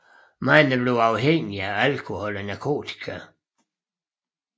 Mange bliver afhængige af alkohol eller narkotika